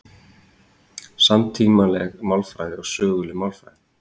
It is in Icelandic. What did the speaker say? Samtímaleg málfræði og söguleg málfræði